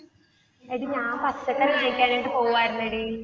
എടി ഞാൻ പച്ചക്കറി വാങ്ങിക്കാനായിട്ട് പോവാർന്നടി.